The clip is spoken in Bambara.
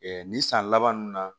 nin san laban ninnu na